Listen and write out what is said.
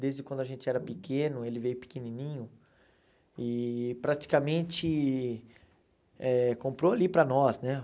desde quando a gente era pequeno, ele veio pequenininho, e praticamente eh comprou ali para nós, né?